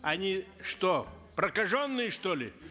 они что прокаженные что ли